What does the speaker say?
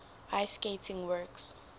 ice skating works